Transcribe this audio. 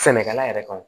Sɛnɛkɛla yɛrɛ kan